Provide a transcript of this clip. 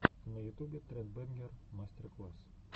на ютубе тред бэнгер мастер класс